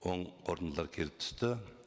оң қорытындылар келіп түсті